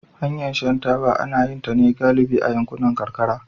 Hanyar shan taba ana yin ta ne galibi a yankunan karkara